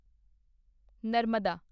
Narmada